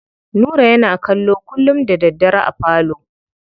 Nura yana kallo kullum da daddare a falo.